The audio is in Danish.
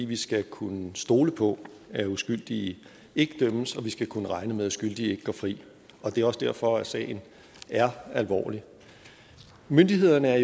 vi skal kunne stole på at uskyldige ikke dømmes og vi skal kunne regne med at skyldige ikke går fri det er også derfor at sagen er alvorlig myndighederne er